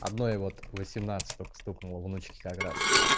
одной вот восемнадцать ток стукнуло внучке как раз